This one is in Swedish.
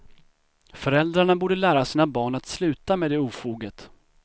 Föräldrarna borde lära sina barn att sluta med det ofoget.